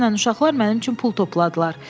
Dünən uşaqlar mənim üçün pul topladılar.